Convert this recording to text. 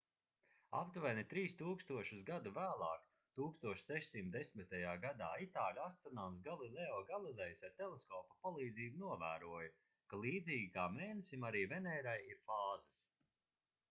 aptuveni trīs tūkstošus gadu vēlāk 1610. gadā itāļu astronoms galileo galilejs ar teleskopa palīdzību novēroja ka līdzīgi kā mēnesim arī venērai ir fāzes